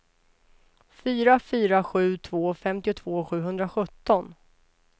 fyra fyra sju två femtiotvå sjuhundrasjutton